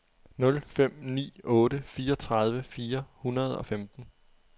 nul fem ni otte fireogtredive fire hundrede og femten